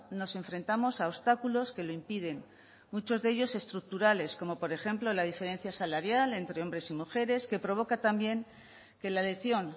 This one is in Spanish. nos enfrentamos a obstáculos que lo impiden muchos de ellos estructurales como por ejemplo la diferencia salarial entre hombres y mujeres que provoca también que la elección